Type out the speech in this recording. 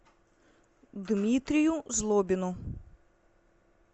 дмитрию злобину